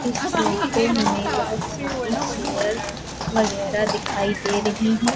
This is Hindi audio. इस फोटो में बहुत सारी चेयर वगैरह दिखाई दे रही हैं।